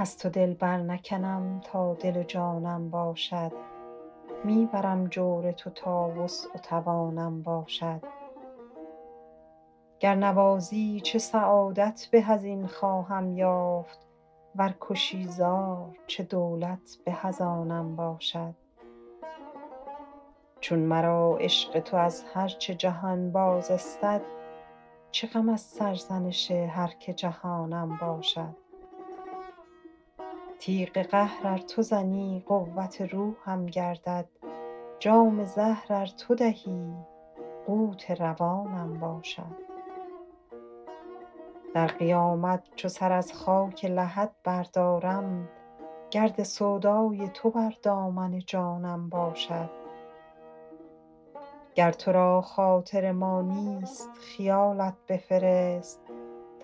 از تو دل برنکنم تا دل و جانم باشد می برم جور تو تا وسع و توانم باشد گر نوازی چه سعادت به از این خواهم یافت ور کشی زار چه دولت به از آنم باشد چون مرا عشق تو از هر چه جهان باز استد چه غم از سرزنش هر که جهانم باشد تیغ قهر ار تو زنی قوت روحم گردد جام زهر ار تو دهی قوت روانم باشد در قیامت چو سر از خاک لحد بردارم گرد سودای تو بر دامن جانم باشد گر تو را خاطر ما نیست خیالت بفرست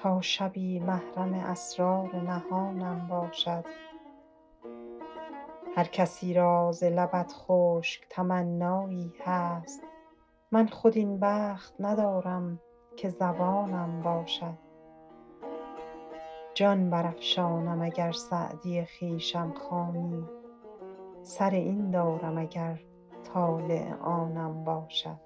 تا شبی محرم اسرار نهانم باشد هر کسی را ز لبت خشک تمنایی هست من خود این بخت ندارم که زبانم باشد جان برافشانم اگر سعدی خویشم خوانی سر این دارم اگر طالع آنم باشد